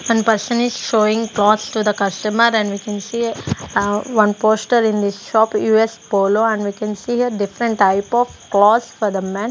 one person is showing clothes to the customer and we can see uh one poster in the shop U_S polo and we can see here different types of clothes for the men.